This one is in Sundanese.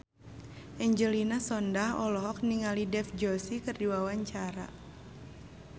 Angelina Sondakh olohok ningali Dev Joshi keur diwawancara